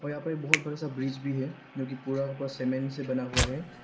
और यहां पर एक बहुत बड़ा सा ब्रिज भी है जो कि पूरा का पूरा सीमेंट से बना हुआ है।